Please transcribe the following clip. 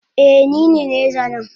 Eh nine nai zanen